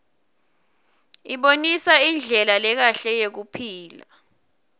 isibonisa indlela lekahle yekuphila